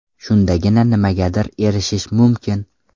Shundagina nimagadir erishish mumkin.